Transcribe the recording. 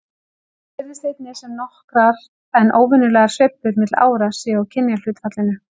Svo virðist einnig sem nokkrar en óverulegar sveiflur milli ára séu á kynjahlutfallinu.